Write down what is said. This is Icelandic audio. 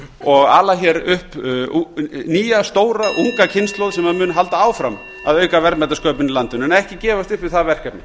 og ala hér upp nýja stóra unga kynslóð sem mun halda áfram að auka verðmætasköpun í landinu en ekki gefast upp við það verkefni